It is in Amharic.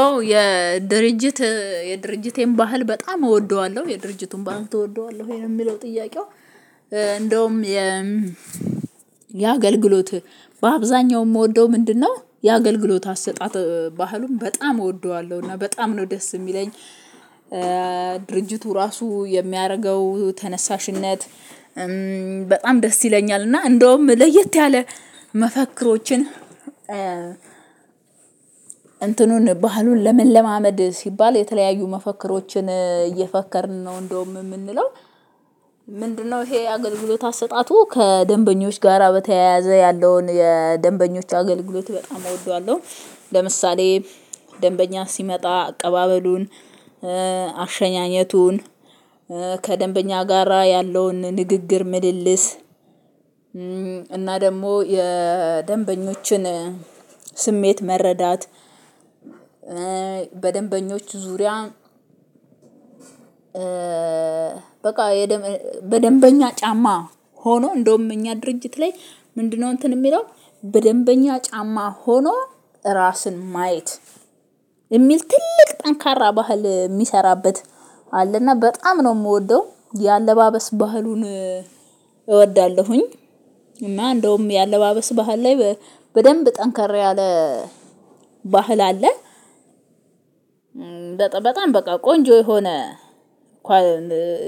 ኦ የድርጅት የድርጅቴን ባህል በጣም እወደዋለሁ የድርጅቱን ባህል ትወደዋለህ ወይ ነው የሚለው ጥያቄው? እንደውም የ የአገልግሎት በአብዛኛው የምወደው ምንድነው የአገልግሎት አሰጣጥ ባህሉን በጣም እወደዋለሁ። እና በጣም ነው ደስ የሚለኝ ድርጅቱ ራሱ የሚያደርገው ተነሳሽነት በጣም ደስ ይለኛል። እና እንደውም ለየት ያለ መፈክሮችን እንትኑን ባህሉን ለመለማመድ ሲባል የተለያዩ መፈክሮችን እየፈከርን ነው እንደውም የምንለው? ምንድነው ይሄ አገልግሎት አሰጣጡ ከደንበኞች ጋራ በተያያዘ ያለውን የደንበኞች አገልግሎት በጣም እወደዋለሁ። ለምሳሌ ደንበኛ ሲመጣ አቀባበሉን አሸኛኘቱን ከደንበኛ ጋራ ያለውን ንግግር ምልልስ እና ደግሞ የደንበኞችን ስሜት መረዳት። በደንበኞች ዙሪያ በቃ። በደንበኛ ጫማ ሆኖ እንደውም እኛ ድርጅት ላይ ምንድነው እንትን የሚለው በደንበኛ ጫማ ሆኖ ራስን ማየት የሚል ትልቅ ጠንካራ ባህል የሚሰራበት አለና በጣም ነው የምወደው የአለባበስ ባህሉን እወዳለሁኝ። እና እንደውም የአለባበስ ባህል ላይ በደንብ ጠንካራ ያለ ባህል አለ። በጣም በጣም በቃ ቆንጆ የሆነ